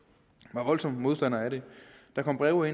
var voldsomme modstandere af det der kom breve